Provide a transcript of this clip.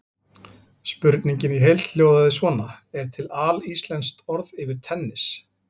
Spurningin í heild sinni hljóðaði svona: Er til alíslenskt orð yfir tennis?